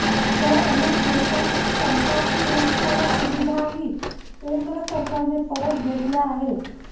तर अनेक नत्यांची सरकारी सुरक्षा आणि सुविधाही केंद्र सरकारने परत घेतल्या आहेत